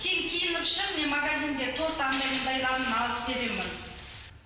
сен киініп шық мен магазинге торт анадай мынандайларын алып беремін